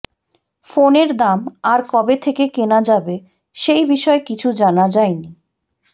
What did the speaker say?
ফোনের দাম আর কবে থেকে কেনা যাবে সেই বিষয়ে কিছু জানা জায়নি